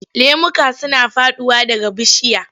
Lemuka suna faɗowa daga bishiya.